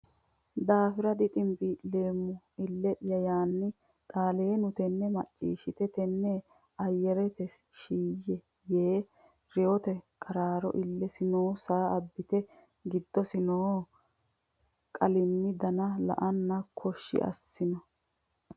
daafira diximbii leemmona ille ya la anna Xaaleenu tenne macciishshite mitte ayirrite shiiyye e yee reyote qaraaro illesi noo saa abbite Giddose noo qalimmi dana la anna koshshi assino !